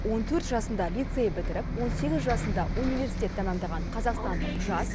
он төрт жасында лицей бітіріп он сегіз жасында университет тәмамдаған қазақстандық жас